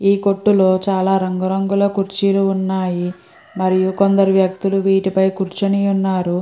ఈ కొట్టు లో చాల రంగు రంగుల కుర్చీలు వున్నాయ్. మరియు కొందరు వ్యక్తులు వీటిలో కురుచొని వున్నారు.